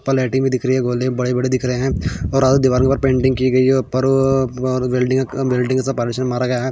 ऊपर लायटिंग भी दिख रही है गोले बड़े बड़े दिख रहे है और दीवार के ऊपर पेंटिंग की गयी है ऊपर अ बिल्डिंग बिल्डिंग का पार्टीशन मारा गया है।